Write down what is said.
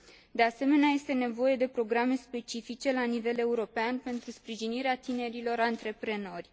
De asemenea, este nevoie de programe specifice la nivel european, pentru sprijinirea tinerilor antreprenori.